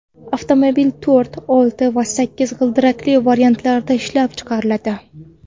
Avtomobil to‘rt, olti va sakkiz g‘ildirakli variantlarda ishlab chiqariladi.